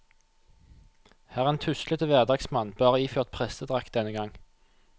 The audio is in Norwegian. Han er en tuslete hverdagsmann, bare iført prestedrakt denne gang.